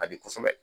A di kosɛbɛ